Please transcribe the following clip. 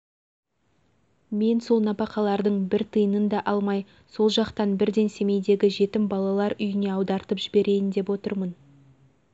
мен сол нәпақалардың бір тиынын да алмай сол жақтан бірден семейдегі жетім балалар үйіне аудартып жіберейін деп отырмын